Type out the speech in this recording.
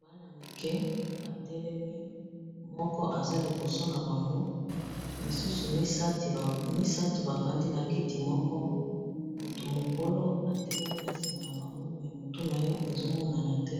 bana-mike batelemi moko aza liboso na bango misusu misato bafandi na kiti moko motu mokolo atelemi na nsima na bango me motu na ye ezomonana te